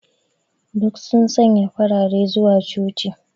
Duk sun sanya farare zuwa coci.